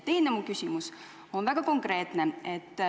Teine küsimus on väga konkreetne.